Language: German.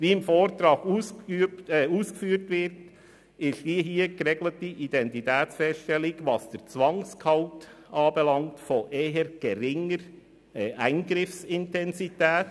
Wie im Vortrag ausgeführt wird, ist die hier geregelte Identitätsfeststellung, was den Zwangsgehalt anbelangt, von eher geringer Eingriffsintensität.